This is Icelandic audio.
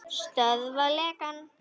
Stöðva lekann.